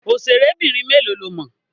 Òṣèrébìnrin mélòó lo mọ̀?